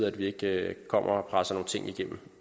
at vi ikke kommer og presser nogle ting igennem